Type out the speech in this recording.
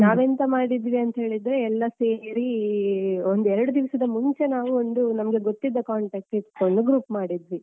ನಾವು ಎಂತ ಮಾಡಿದ್ವಿ ಅಂತ ಹೇಳಿದ್ರೆ ಎಲ್ಲ ಸೇರೀ ಒಂದು ಎರಡು ದಿವಸದ ಮುಂಚೆ ನಾವು ಒಂದು ನಮ್ಗೆ ಗೊತ್ತಿದ್ದ contact ಇಡ್ಕೊಂಡು group ಮಾಡಿದ್ವಿ.